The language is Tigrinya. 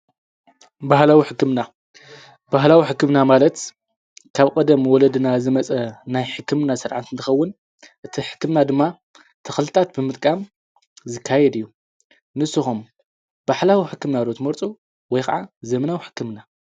ባህላዊ ሕክምና :- ባህላዊ ሕክምና ማለት ካብ ቀደም ወለድና ዝምጸ ናይ ሕክምና ስርዓት እንትኸዉን እቲ ሕክምና ድማ ተኽልታት ብምጥቃም ዝካየድ እዩ። ንስኹም ባህላዊ ሕክምና ዶ ትምርጹ ወይ ክዓ ዘምናዊ ሕክምና?